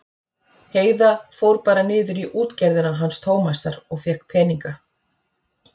Heiða fór bara niður í útgerðina hans Tómasar og fékk peninga.